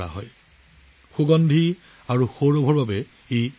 অপূৰ্ব সোৱাদ আৰু সুগন্ধিৰ বাবে ই পৰিচিত